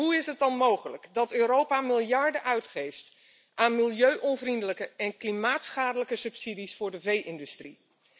Hoe is het dan mogelijk dat Europa miljarden uitgeeft aan milieuonvriendelijke en klimaatschadelijke subsidies voor de vee industrie?